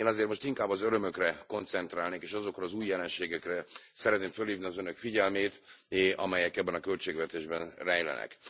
Én azért most inkább az örömökre koncentrálnék, és azokra az új jelenségekre szeretném fölhívni az Önök figyelmét, amelyek ebben a költségvetésben rejlenek.